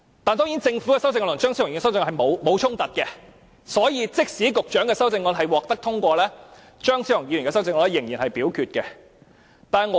當然，政府的修正案和張超雄議員的修正案並無衝突，所以即使局長的修正案獲得通過，張超雄議員的修正案仍然會付諸表決。